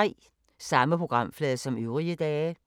Samme programflade som øvrige dage